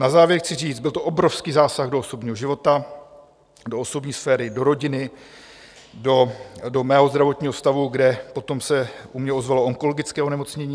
Na závěr chci říct, byl to obrovský zásah do osobního života, do osobní sféry, do rodiny, do mého zdravotního stavu, kde potom se u mě ozvalo onkologické onemocnění.